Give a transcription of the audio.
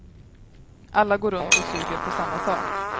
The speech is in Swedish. Alla går runt och suger på samma sak.